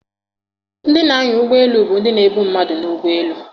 Ndị na-anya ụgbọ elu bụ ndị na-ebu mmadụ n'ụgbọelu.